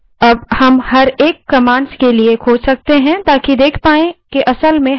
अब हम प्रत्येक commands खोज सकते हैं ताकि देख पाएँ कि असल में हमें क्या चाहिए